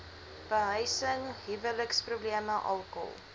behuising huweliksprobleme alkohol